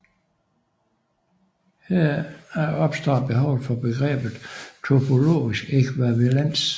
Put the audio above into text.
Heraf opstår behovet for begrebet topologisk ækvivalens